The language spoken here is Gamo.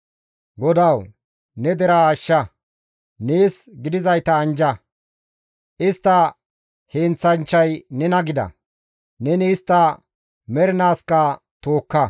GODAWU! Ne deraa ashsha; nees gidizayta anjja; istta heenththanchchay nena gida; neni istta mernaaskka tookka.